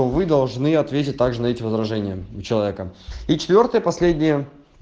то вы должны ответить также на эти возражения у человека и четвёртая последняя